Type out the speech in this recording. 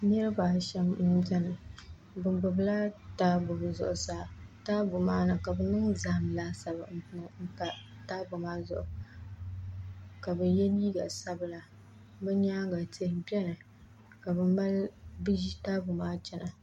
niriba ashɛm m-beni bɛ gbubila taabo bɛ zuɣusaa ka bɛ niŋ zahim laasabu m-pa taabo maa zuɣu ka bɛ ye liiga sabila bɛ nyaaŋa tihi beni ka bɛ ʒi taabo maa chana